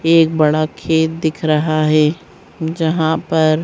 एक बड़ा खेत दिख रहा है जहाँ पर --